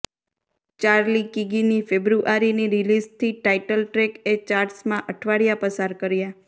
Charlie કીગીની ફેબ્રુઆરીની રિલીઝથી ટાઇટલ ટ્રૅકએ ચાર્ટ્સમાં અઠવાડિયા પસાર કર્યા